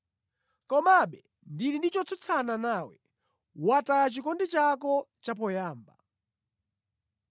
Komabe ndili ndi chotsutsana nawe: Wataya chikondi chako chapoyamba.